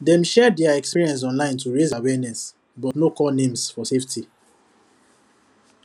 dem share their experience online to raise awareness but no call names for safety